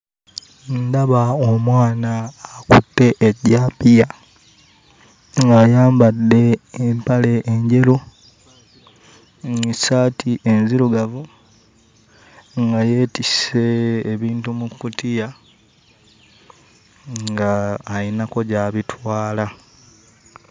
Ndaba omwana akutte ejjambiya ng'ayambadde empale enjeru mm ssaati enzirugavu nga yeetisse ebintu mu kkutiya ng'ayinako gy'abitwala.